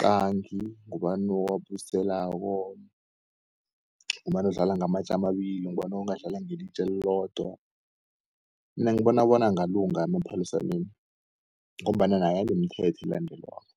qangi, ngubani owabuyiselako ngubani odlala ngamatje amabili, ngubani ongadlala ngelitje elilodwa. Mina ngibona bona angalunga emaphaliswaneni ngombana naye anomthetho elandelwako.